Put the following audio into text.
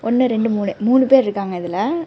இங்க ரெண்டு மூணு மூணு பேர்ருக்காங்க இதுல.